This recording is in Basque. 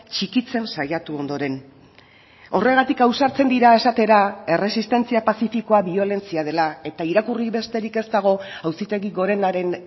txikitzen saiatu ondoren horregatik ausartzen dira esatera erresistentzia pazifikoa biolentzia dela eta irakurri besterik ez dago auzitegi gorenaren